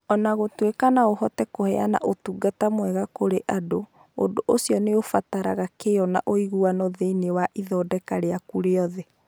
O na gũtuĩka no ũhote kũheana ũtungata mwega kũrĩ andũ, ũndũ ũcio nĩ ũbataraga kĩyo na ũiguano thĩinĩ wa ithondeka rĩaku rĩothe.